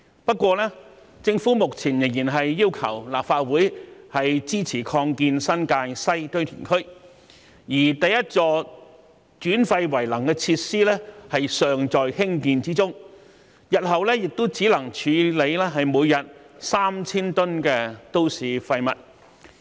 不過，政府目前仍然要求立法會支持擴建新界西堆填區，而第一座轉廢為能的設施尚在興建中，日後每天亦只能處理3000噸都市廢物。